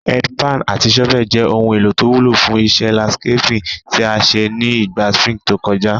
Head pan àti shovel je oun èlò to wúlò fún isé landscaping tí a sé ni ìgba spring to kojá